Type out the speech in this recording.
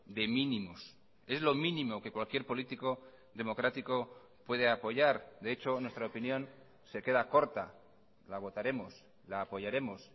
de mínimos es lo mínimo que cualquier político democrático puede apoyar de hecho en nuestra opinión se queda corta la votaremos la apoyaremos